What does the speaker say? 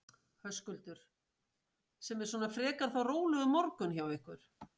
Höskuldur: Sem er svona frekar þá rólegur morgunn hjá ykkur?